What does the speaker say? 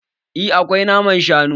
Eh akwai naman shanu